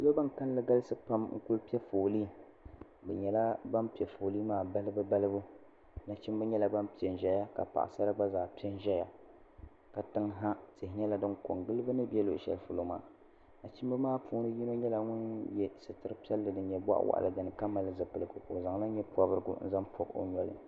Salo bini kanli galisi pam n kuli pɛ foli bi nyɛla bini pɛ doli maa balibu balibu nachimba nyɛla bini pɛ n zɛya ka paɣasara gba zaa pɛ n zaya latin ha tihi nyɛla dini ko n gili bini bɛ luɣi shɛli polo maa nachimba maa puuni so nyɛla ŋuni ye sitiri piɛlli dini nyɛ bɔɣi wɔɣila dini ka mali zipiligu o zaŋla yee pɔbirigu n zaŋ pɔbi o noli.